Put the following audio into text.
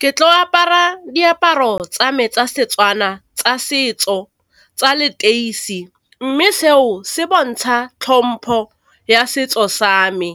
Ke tlo apara diaparo tsa me tsa setswana tsa setso tsa leteisi, mme seo se bontsha tlhompo ya setso sa me